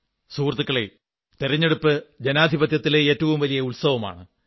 സുഹൃത്തുക്കളേ തിരഞ്ഞെടുപ്പ് ജനാധിപത്യത്തിലെ ഏറ്റവും വലിയ ഉത്സവമാണ്